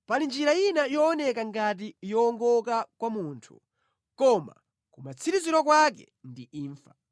Pali njira ina yooneka ngati yowongoka kwa munthu koma kumatsiriziro kwake ndi imfa.